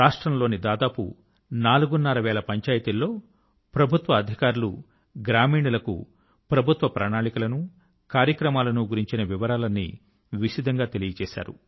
రాష్ట్రం లోని దాదాపు నాలుగున్రర వేల పంచాయతీల్లో ప్రభుత్వ అధికారులు గ్రామీణుల కు ప్రభుత్వ ప్రణాళికల ను కార్యక్రమాల ను గురించిన వివరాలన్నీ విశదం గా తెలిపారు